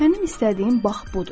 Mənim istədiyim bax budur.